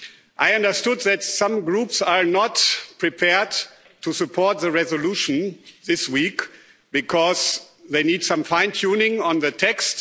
I understand that some groups are not prepared to support the resolution this week, because they need some fine tuning on the text.